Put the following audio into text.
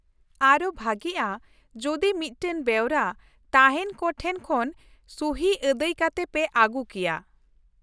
ᱟᱨᱦᱚᱸ ᱵᱷᱟᱹᱜᱤᱜᱼᱟ ᱡᱩᱫᱤ ᱢᱤᱫᱴᱟᱝ ᱵᱮᱣᱨᱟ ᱛᱟᱦᱮᱸᱱ ᱠᱚ ᱴᱷᱮᱱ ᱠᱷᱚᱱ ᱥᱩᱦᱤ ᱟᱹᱫᱟᱹᱭ ᱠᱟᱛᱮ ᱯᱮ ᱟᱹᱜᱩ ᱠᱮᱭᱟ ᱾